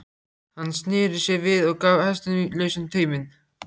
Hann sneri sér við og gaf hestinum lausan tauminn.